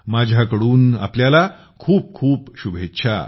माझ्या कडून आपल्याला खूप खूप शुभेच्छा